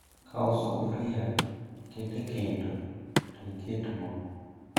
kau sufria, ket e kendo to iket moo